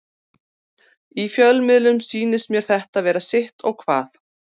Í fjölmiðlum sýnist mér þetta vera sitt og hvað.